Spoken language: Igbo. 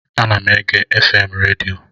Ana m ege FM redio